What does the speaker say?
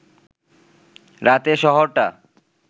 রাতে শহরটা